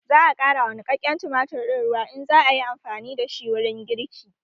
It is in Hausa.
Za a ƙara wa niƙaƙƙen tumatir ɗin ruwa in za ayi amfani da shi wurin girki